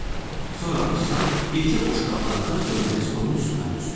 Sonra afisant yekə boşqablarda dönəri stolun üstünə düzdü.